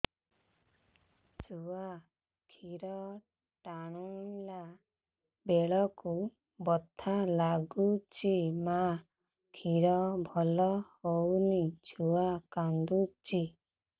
ଛୁଆ ଖିର ଟାଣିଲା ବେଳକୁ ବଥା ଲାଗୁଚି ମା ଖିର ଭଲ ହଉନି ଛୁଆ କାନ୍ଦୁଚି